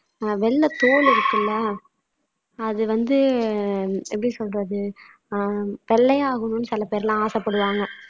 வெள்ளைத் தோல் இருக்குல்ல அது வந்து எப்படி சொல்றது ஆஹ் வெள்ளையாகணும்னு சில பேர்லாம் ஆசைப்படுவாங்க